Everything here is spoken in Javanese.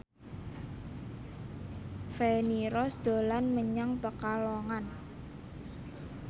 Feni Rose dolan menyang Pekalongan